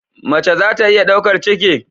Mace za ta iya daukar ciki?